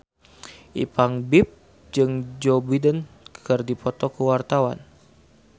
Ipank BIP jeung Joe Biden keur dipoto ku wartawan